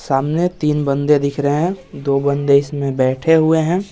सामने तीन बंदे दिख रहे हैं दो बंदे इसमें बैठे हुए हैं।